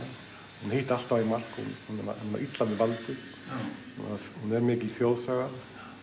hún hitti alltaf í mark og var illa við valdið hún er mikil þjóðsaga